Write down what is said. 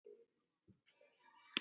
Verði hann besta barnið þitt.